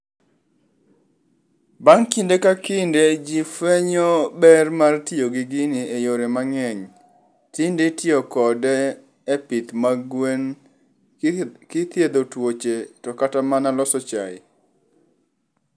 Bang' kinde kakinde jifwenyo ber mar tiyo gi gini eyore mang'eny. Tinditiyo kode e pith mag gwen, kithiedho tuoche to katamana loso chae.